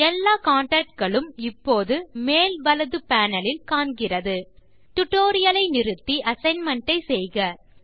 எல்லா கான்டாக்ட் களும் இப்போது மேல் வலது பேனல் இல் காண்கிறது டியூட்டோரியல் ஐ நிறுத்தி அசைன்மென்ட் ஐ செய்க